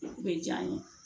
O bɛ diya n ye